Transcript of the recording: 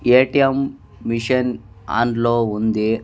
ATM machine on లో ఉంది.